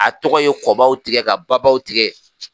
A tɔgɔ ye kɔ baw tigɛ ka ba baw tigɛ